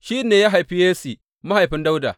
Shi ne ya haifi Yesse, mahaifin Dawuda.